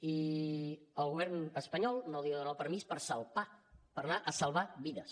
i el govern espanyol no li dona el permís per salpar per anar a salvar vides